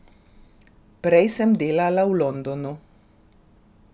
Prej sem delala v Londonu.